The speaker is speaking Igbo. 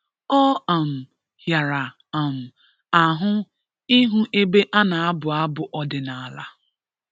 Ọ um hịara um ahụ ịhụ ebe a na-abụ abụ ọdịnala